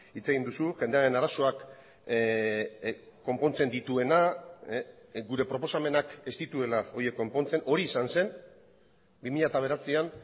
hitz egin duzu jendearen arazoak konpontzen dituena gure proposamenak ez dituela horiek konpontzen hori izan zen bi mila bederatzian